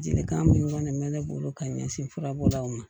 Jelikan min kɔni bɛ ne bolo ka ɲɛsin furabɔdaw ma